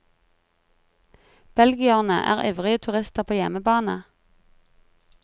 Belgierne er ivrige turister på hjemmebane.